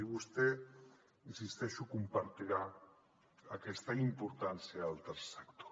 i vostè hi insisteixo deu compartir aquesta importància del tercer sector